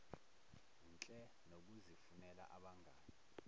nhle nokuzifunela abangani